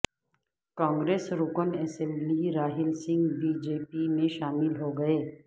کانگریس رکن اسمبلی Rahul Singh B J P میں شامل ہوگئے